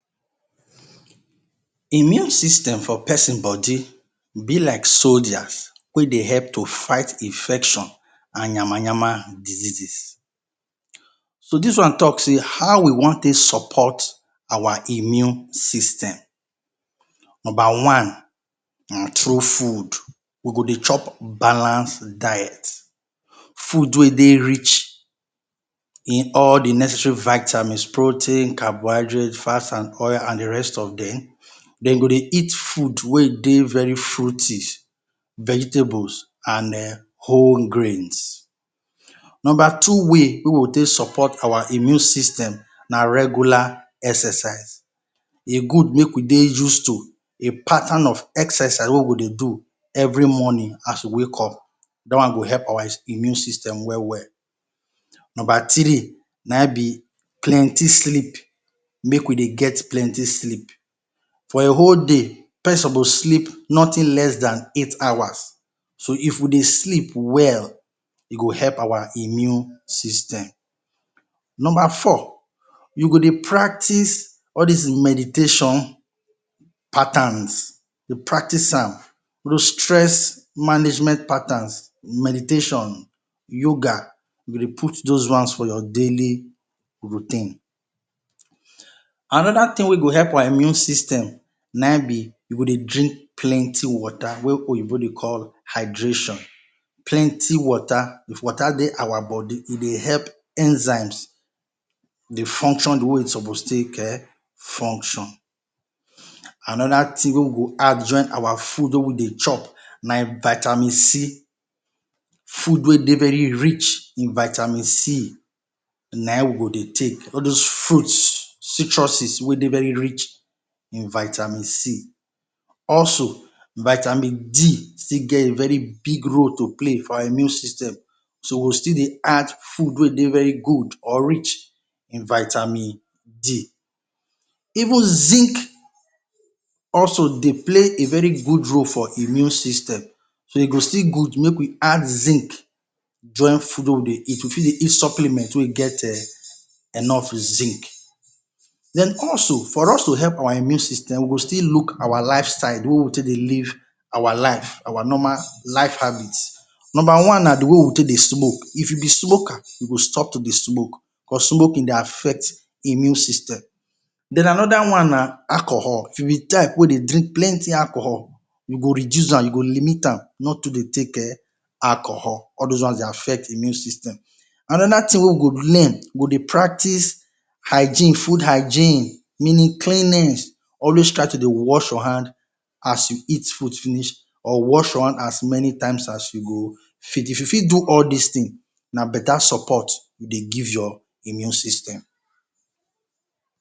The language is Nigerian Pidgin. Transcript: Immune system for pesin bodi be like soljas wey dey help to fight infection and yama-yama diseases. So dis one talk sey, how we wan take sopot our immune system? Number one: thru fud, we go dey chop balance diet, fud wey dey rich in all the necessary vitamins, protein, carbohydrate, fat and oil and oil and the rest of dem, de go dey eat food wey dey very fruity, vegetables and den wole grains. Nomba two way wey we take sopot our immune system na regular exercise, e gud make we dey use to a patan of exercise wey we go dey do every morning as we wake up, da one go help our immune system we-we. Nomba three:na in be plenti sleep, make we dey get plenti sleep, for a whole dey, pesin sopos dey sleep notin less dan eight hours. So if we dey sleep well, e go dey help our immune system. Nomba four, you go dey practice all dis meditation patans, you practice am, you stress management patans meditation, yoga, you go dey put dos ones for your daily routine. Anoda tin wey go help your immune system na in be, you go dey drink plenti wota wey oyibo dey call hydration. plenty wota, if wota dey our bodi e dey help enzymes dey function the way e sopos take function. Anoda tin wey we go add for our fud wey we dey chop na vitamin C, fud wey dey very rich na in we go dey take, all dos frut, citrusis wey rich in vitamin. Also vitamin D still get still get a big role to play for our immune system. So we go still dey add fud wey dey very gud or rich in vitamin D, even zinc also dey play a very gud role for immune system, e go still gud make we add zinc join fud wey we dey eat, we fit dey eat supplement wey get enof zink. Den also for us to help our immune system we go still look our life style, the wey we take dey live our life, our normal life habit. Nomba one, na the way we take dey smoke, if you be smoker, stop to dey smoke because smokin dey afect immune sysyem. Den, anoda one na alcohol, if you be type wey dey drink plenti alcohol. You go reduce am, you go limit am, not too dey take alcohol, all dos ones dey affect immune system. Anoda tin wey we go learn, we go dey practice hygiene, fud hygiene, meanin cleanin, wash your hand, always try to dey wash your hand as you eat fud finish or wash your hand as meni time as you go fit. If you fit do all dis tins, na beta sopot you dey give your immune system.